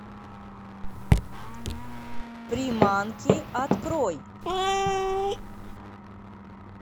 приманки открой